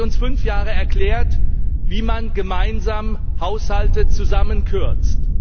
Jetzt haben Sie uns fünf Jahre erklärt, wie man gemeinsam Haushalte zusammenkürzt.